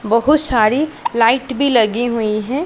बहोत सारी लाइट भी लगी हुई है।